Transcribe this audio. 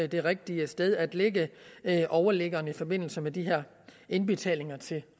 det rigtige sted at lægge overliggeren i forbindelse med de her indbetalinger til